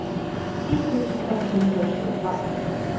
ti tusen ett hundre og tjuefem